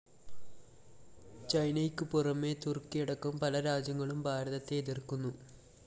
ചൈനയ്ക്കു പുറമെ തുര്‍ക്കിയടക്കം പല രാജ്യങ്ങളും ഭാരതത്തെ എതിര്‍ക്കുന്നു